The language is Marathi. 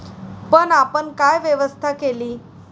पण आपण काय व्यवस्था केली?